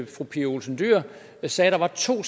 fru pia olsen dyhr sagde at der var to